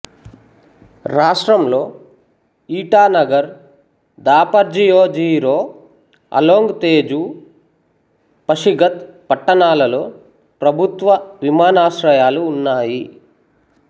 రాష్ట్రంలో ఇటానగర్ దాపర్జియో జీరో అలోంగ్ తేజూ పషిగత్ పట్టణాలలో ప్రభుత్వ విమానాశ్రయాలు ఉన్నాయి